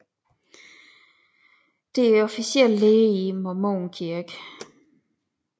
Det er officiel lære i Mormonkirken